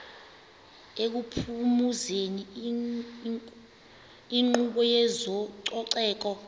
ekuphumezeni inkqubo yezococeko